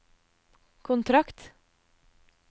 kontrakt